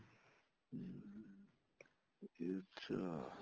ਜੀ ਅੱਛਿਆ